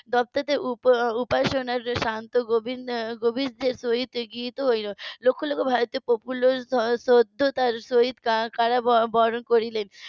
. লক্ষ লক্ষ ভারতীয় প্রফুল্ল সততার সহিত কারা বরণ করলেন